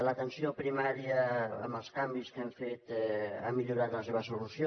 l’atenció primària amb els canvis que hem fet ha millorat en la seva solució